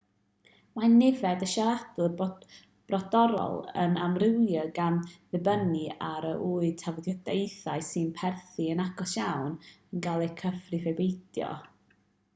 mae nifer y siaradwyr brodorol yn amrywio gan ddibynnu ar a yw tafodieithoedd sy'n perthyn yn agos iawn yn cael eu cyfrif ai peidio